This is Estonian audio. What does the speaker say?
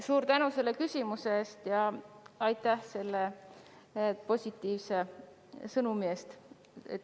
Suur tänu selle küsimuse ja positiivse sõnumi eest!